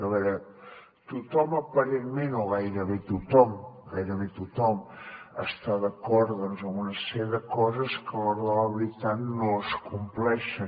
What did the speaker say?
a veure tothom aparentment o gairebé tothom gairebé tothom està d’acord doncs amb una sèrie de coses que a l’hora de la veritat no es compleixen